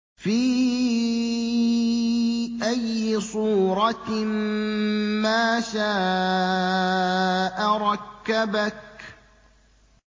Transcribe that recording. فِي أَيِّ صُورَةٍ مَّا شَاءَ رَكَّبَكَ